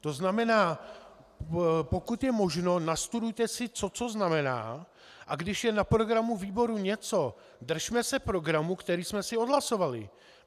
To znamená, pokud je možno, nastudujte si, co co znamená, a když je na programu výboru něco, držme se programu, který jsme si odhlasovali.